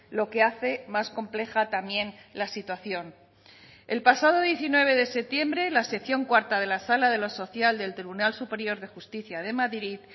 lo que hace más compleja también la situación el pasado diecinueve de septiembre la sección cuarta de la sala de lo social del tribunal superior de justicia de madrid